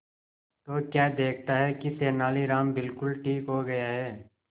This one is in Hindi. तो क्या देखता है कि तेनालीराम बिल्कुल ठीक हो गया है